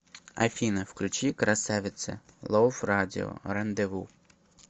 афина включи красавцы лав радио рандеву